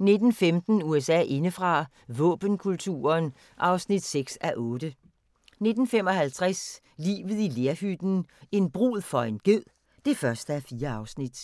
19:15: USA indefra: Våbenkulturen (6:8) 19:55: Livet i lerhytten – en brud for en ged (1:4)